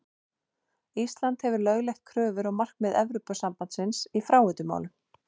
Ísland hefur lögleitt kröfur og markmið Evrópusambandsins í fráveitumálum.